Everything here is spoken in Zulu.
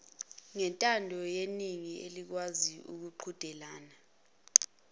ngentandoyeningi elikwazi ukuqhudelana